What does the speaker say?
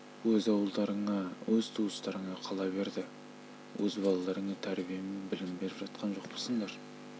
өз ауылдарыңа өз туыстарыңа қала берді өз балаларыңа тәрбие мен білім беріп жатқан жоқпысыңдар